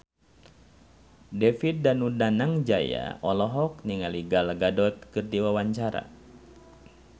David Danu Danangjaya olohok ningali Gal Gadot keur diwawancara